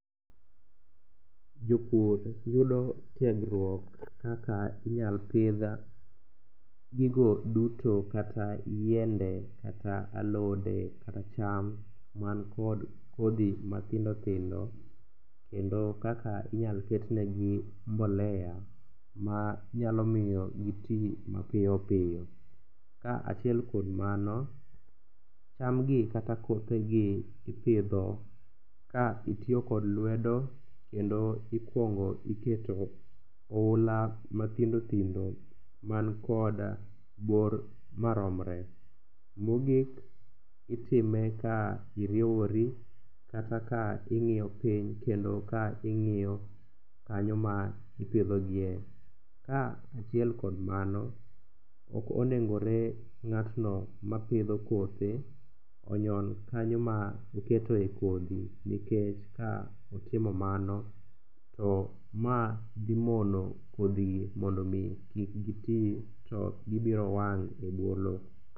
Jopur yudo tiegruok kaka inyal pidh gigo duto kata yiende kata alode kata cham mankod kodhi mathindothindo kendo kaka inyal ketnegi mbolea manyalo miyo giti mapiyopiyo. Kaachiel kod mano, chamgi kata kothegi ipidho ka itiyo kod lwedo kendo ikuongo iketo oula mathindothindo makod bor maromre. Mogik, itime ka iriewori kata ka ing'iyo piny kendo ka ing'iyo kanyo ma ipidhogie. Kaachiel kod mano, okonegoni ng'atno mapidho kothe onyon kanyo ma oketoe kodhi nikech ka otimo mano to ma dhimono kodhigi mondo omi kik giti to gibiro wang' e bwo lo.